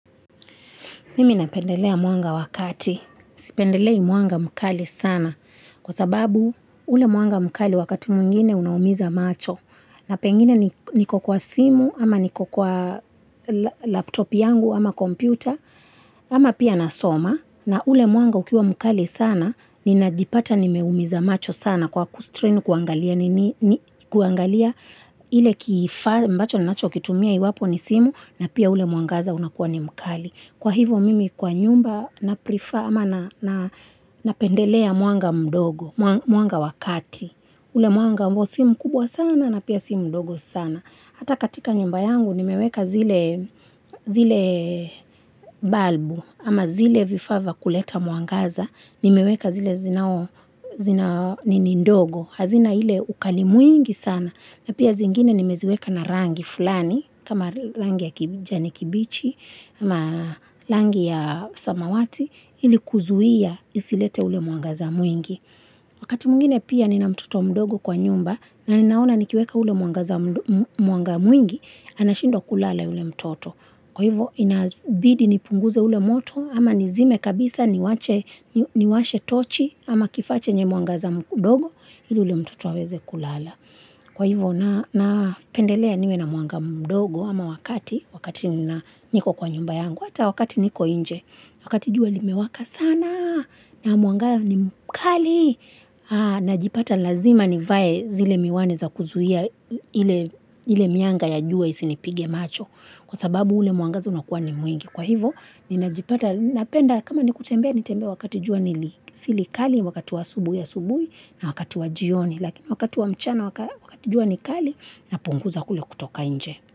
Mimi napendelea mwanga wakati, sipendelei mwanga mkali sana, kwa sababu ule mwanga mkali wakati mwingine unaumiza macho, na pengine niko kwa simu, ama niko kwa laptop yangu, ama kompyuta, ama pia nasoma, na ule mwanga ukiwa mkali sana, ninajipata nimeumiza macho sana kwa kustrain kuangalia nini, kuangalia ile kifaa, ambacho nacho kitumia iwapo ni simu, na pia ule mwangaza unakuwa ni mkali. Kwa hivo mimi kwa nyumba na pendelea mwanga mdogo, mwanga wa kati. Ule mwanga ambao si mkubwa sana na pia si mdogo sana. Hata katika nyumba yangu nimeweka zile balbu ama zile vifaa vya kuleta mwangaza. Nimeweka zile zinao nini ndogo. Hazina ile ukali mwingi sana na pia zingine nimeziweka na rangi fulani. Kama rangi ya kijani kibichi, kama rangi ya samawati, ilikuzuia isilete ule mwangaza mwingi. Wakati mwingine pia nina mtoto mdogo kwa nyumba, na ninaona nikiweka ule mwangaza mwingi, anashindwa kulala yule mtoto. Kwa hivo, inabidi nipunguze ule moto, ama nizime kabisa niwashe tochi, ama kifaa chenye mwangaza mdogo, ili yule mtoto aweze kulala. Kwa hivo napendelea niwe na mwanga mdogo ama wa kati, wakati niko kwa nyumba yangu, hata wakati niko inje, wakati jua limewaka sana, na mwanga ni mkali, najipata lazima nivae zile miwani za kuzuia ile mianga ya jua isinipige macho, kwa sababu ule mwangaza unakuwa ni mwingi. Kwa hivo, ninajipata, napenda, kama ni kutembea, nitembee wakati jua ni silikali, wakati wa asubui na wakati wa jioni. Lakini wakati wa mchana wakati jua ni kali napunguza kule kutoka nje.